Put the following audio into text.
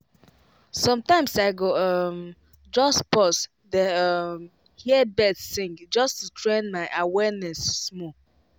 sometimes i go um just pause dey um hear birds sing just to train my awareness small.